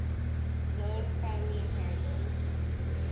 known family inheritance